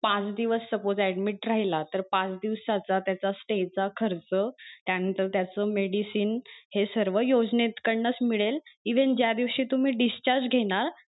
पाच दिवस suppose admit राहिला तर पाच दिवसाचा त्याचा stay चा खर्च त्या नंतर त्याच medicine हे सर्व योजनेकडनं च मिळेल even ज्या दिवशी तुम्ही discharge घेणार,